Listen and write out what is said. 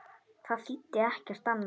Það þýddi ekkert annað.